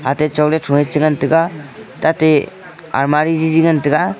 atai chaoley traei cha ngan taiga tate almari jiji ngan taga.